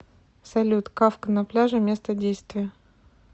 салют кафка на пляже место действия